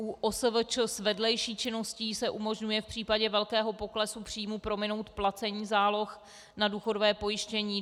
U OSVČ s vedlejší činností se umožňuje v případě velkého poklesu příjmů prominout placení záloh na důchodové pojištění.